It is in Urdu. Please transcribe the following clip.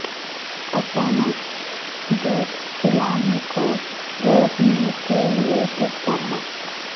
اچانک دودھ پلانے کو روکنے کے لئے کس طرح